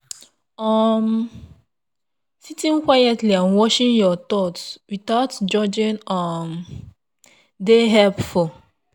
um sitting quietly and watching your thoughts without judging um dey helpful.